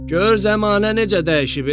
Gör zəmanə necə dəyişib, e?